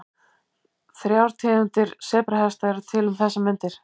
Þrjár tegundir sebrahesta eru til um þessar mundir.